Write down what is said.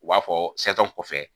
U b'a fɔ kɔfɛ.